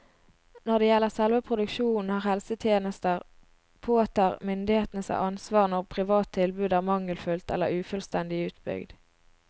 Når det gjelder selve produksjonen av helsetjenester, påtar myndighetene seg ansvar når privat tilbud er mangelfullt eller ufullstendig utbygd.